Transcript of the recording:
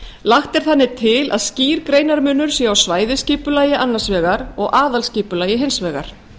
lagt er þannig til að skýr greinarmunur sé á svæðisskipulagi annars vegar og aðalskipulagi hins vegar